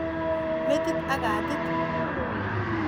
Metit ak katit.